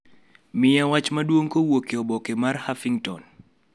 miya wach maduong' kowuok e oboke mar Huffington